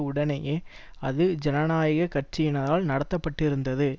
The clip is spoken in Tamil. உடனேயே அது ஜனநாயக கட்சியினரால் நடத்தப்பட்டிருந்தது